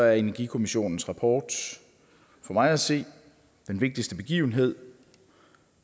er energikommissionens rapport for mig at se den vigtigste begivenhed